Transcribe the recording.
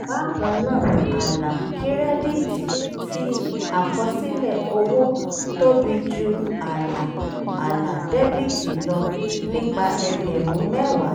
bákan náà àlà kírẹ́díìtì ti àkọsílẹ̀ owó tóbi ju àlà àlà dẹ́bìtì lọ nípa ẹgbẹ̀rún mẹ́wàá